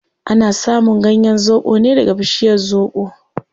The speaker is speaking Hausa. Ana samun ganyen zobo ne daga bishiyar zobo